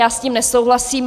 Já s tím nesouhlasím.